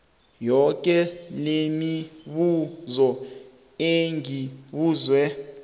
yoke lemibuzo engibuzwe